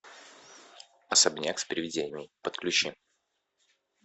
особняк с привидениями подключи